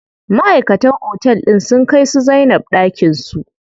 Maʼaikatan otel din sun kai su Zainab ɗakin su.